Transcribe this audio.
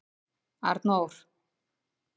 Arnór